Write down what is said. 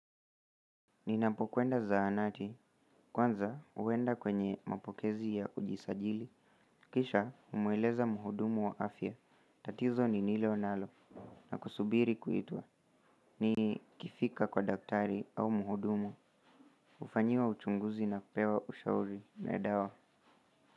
Ninapokwenda zahanati, kwanza huenda kwenye mapokezi ya kujisajili kisha humueleza mhudumu wa afya, tatizo nililo nalo na kusubiri kuitulwa. Nikifika kwa daktari au mhudumu, hufanyiwa uchunguzi na kupewa ushauri na dawa.